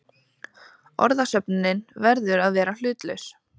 Orðasöfnunin verður að vera hlutlaus.